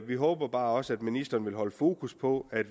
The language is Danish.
vi håber bare også at ministeren vil holde fokus på at